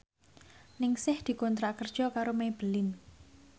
Ningsih dikontrak kerja karo Maybelline